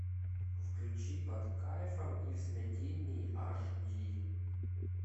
включи под кайфом и в смятении аш ди